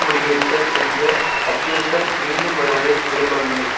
முடிவெடுத்தல் என்ற அச்சுறுத்தல் மீண்டும் வருவதை விரும்பவில்லை